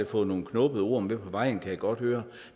fået nogle knubbede ord med på vejen kan jeg godt høre